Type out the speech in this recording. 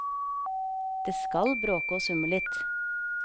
Det skal bråke og summe litt.